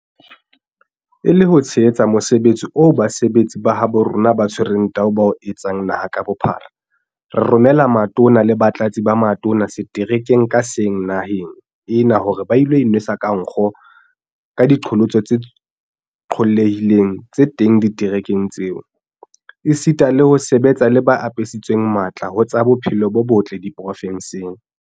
E le ho tshehetsa mosebetsi oo basebetsi ba habo rona ba tshwereng teu ba o etsang naha ka bophara, re romela Matona le Batlatsi ba Matona seterekeng ka seng naheng ena hore ba ilo inwesa ka nkgo ka diqholotso tse qollehileng tse teng diterekeng tseo, esita le ho sebetsa le ba apesitsweng matla ho tsa bophelo bo botle diprovenseng.